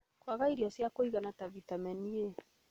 Kwaga irio cia kũigana ta vitamini A,